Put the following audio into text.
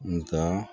Nga